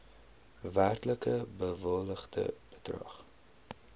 werklik bewilligde bedrag